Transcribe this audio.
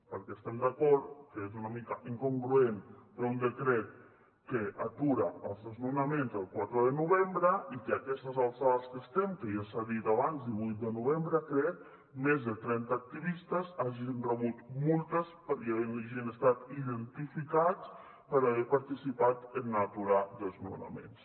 perquè estem d’acord que és una mica incongruent fer un decret que atura els desnonaments el quatre de novembre i que a aquestes alçades que estem que ja s’ha dit abans divuit de novembre crec més de trenta activistes hagin rebut multes i hagin estat identificats per haver participat en aturar desnonaments